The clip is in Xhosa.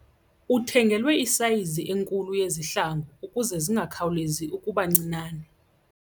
Uthengelwe isayizi enkulu yezihlangu ukuze zingakhawulezi ukuba ncinane.